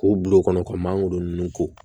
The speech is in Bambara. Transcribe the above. K'u bil'o kɔnɔ ka mangoro ninnu ko